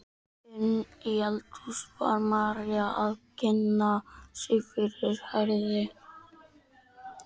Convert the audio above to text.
Inni í eldhúsi var María að kynna sig fyrir Herði.